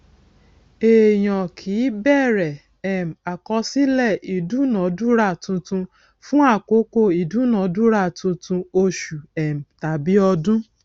èèyàn kì í bẹrẹ um àkọsílẹ ìdúnadúrà tuntun fún àkókò ìdúnadúrà tuntun oṣù um tàbí ọdún